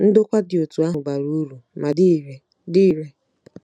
Ndokwa dị otú ahụ bara uru ma dị irè. dị irè.